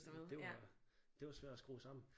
Det var det var svært at skrue sammen